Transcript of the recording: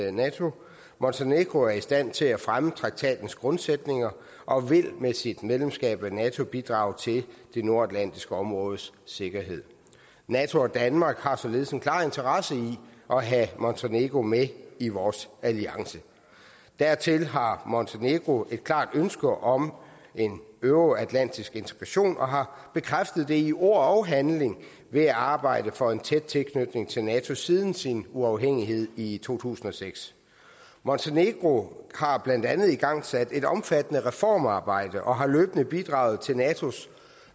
af nato montenegro er i stand til at fremme traktatens grundsætninger og vil med sit medlemskab af nato bidrage til det nordatlantiske områdes sikkerhed nato og danmark har således en klar interesse i at have montenegro med i vores alliance dertil har montenegro et klart ønske om en euroatlantisk integration og har bekræftet det i ord og handling ved at arbejde for en tæt tilknytning til nato siden sin uafhængighed i to tusind og seks montenegro har blandt andet igangsat et omfattende reformarbejde og har løbende bidraget til natos